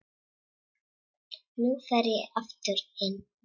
Nú fer ég aftur inn.